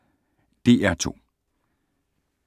DR2